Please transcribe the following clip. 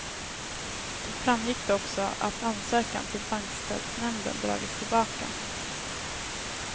Då framgick det också att ansökan till bankstödsnämnden dragits tillbaka.